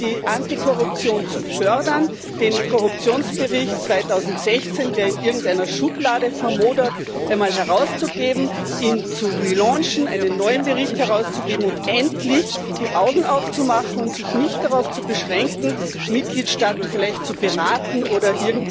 die Antikorruption zu fördern, den Korruptionsbericht 2016, der in irgendeiner Schublade vermodert, einmal herauszugeben, ihn zu relaunchen, einen neuen Bericht herauszugeben und endlich die Augen aufzumachen und sich nicht darauf zu beschränken, Mitgliedstaaten vielleicht zu beraten oder